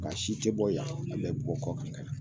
Nka si te bɔ yan, a bɛɛ bi bɔ kɔ kan ka na.